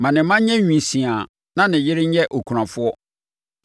Ma ne mma nyɛ nwisiaa na ne yere nyɛ okunafoɔ.